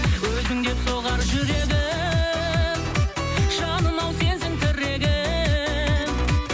өзің деп соғар жүрегім жаным ау сенсің тірегім